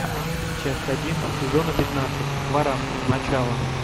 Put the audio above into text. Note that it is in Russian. часть один сезона пятнадцать хваран начало